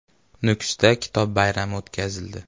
Nukusda kitob bayrami o‘tkazildi.